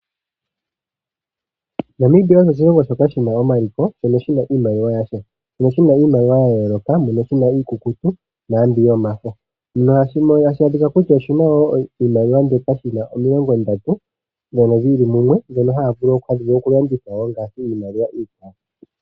Namibia osho oshilongo shoka shi na omaliko shono shi na iimaliwa yasho. Oshi na iimaliwa ya yooloka, mono shi na iikukutu naambi yomafo. Oshi na wo iimaliwa omilongondatu dhi li mumwe ndhono haya vulu okulanditha wo ngaashi iimaliwa iikwawo.